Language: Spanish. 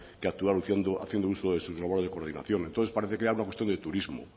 que actuar haciendo uso de sus labores de coordinación entonces parece que habla usted de turismo